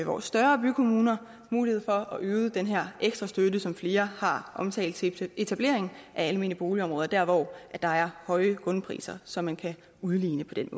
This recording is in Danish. vores større bykommuner mulighed for at øge den her ekstra støtte som flere har omtalt til etablering af almene boligområder der hvor der er høje grundpriser så man kan udligne på den